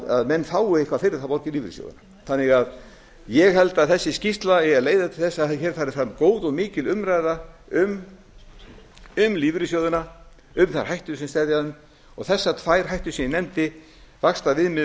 að menn fái eitthvað fyrir að borga í lífeyrissjóðina þannig að ég held að þessi skýrsla eigi að leiða til þess að hér fari fram góð og mikil umræða um lífeyrissjóðina um þær hættur sem steðja að þeim og þessar tvær hættur sem ég nefndi vaxtaviðmiðin